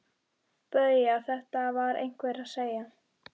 BAUJA: Þetta var einhver að segja.